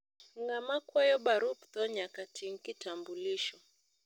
ngama kwayo barup tho nyaka ting kitambulisho